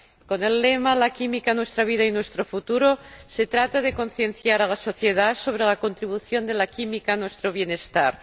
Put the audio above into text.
Con el lema La química nuestra vida, nuestro futuro se trata de concienciar a la sociedad sobre la contribución de la química a nuestro bienestar.